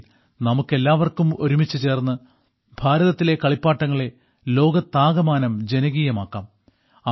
വരുവിൻ നമുക്കെല്ലാവർക്കും ഒരുമിച്ചു ചേർന്ന് ഭാരതത്തിലെ കളിപ്പാട്ടങ്ങളെ ലോകത്താകമാനം ജനകീയമാക്കാം